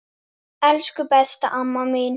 Elsku besta amma mín.